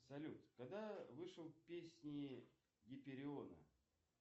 салют когда вышел песни гипериона